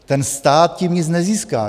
Ten stát tím nic nezíská.